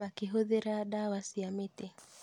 makĩhũthĩra ndawa cia mĩtĩ